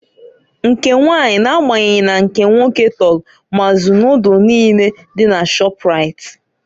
Nke nwanyị na agbanyeghi na nke nwoke tọlụ mazụ Nodulu niine dị na Shọprait.